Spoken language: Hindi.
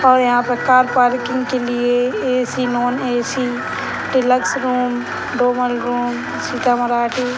और यहाँ पे कार पार्किंग के लिए AC. Non - AC. Deluxe room double room सितमराठी --